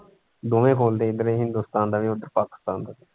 ਦੋਵੇਂ ਖੋਲਦੇ ਇੱਧਰੋਂ ਹਿੰਦੁਸਤਾਨ ਦਾ ਉੱਧਰੋਂ ਪਾਕਿਸਤਾਨ ਦਾ।